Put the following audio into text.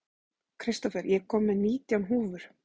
Kristófer, ég kom með nítján húfur!